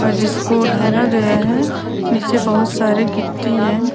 अ जिसको ढाला गया हैं नीचे बहुत सारे गिट्टी हैं ।